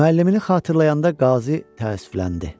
Müəllimini xatırlayanda Qazı təəssüfləndi.